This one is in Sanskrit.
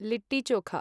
लित्ति चोख